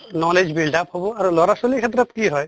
knowledge build up হʼব আৰু লʼৰা ছৱালীৰ ক্ষেত্ৰত কি হয়